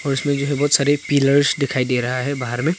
इसमें जो है बहुत सारी पिलर्स दिखाई दे रहा है बाहर में।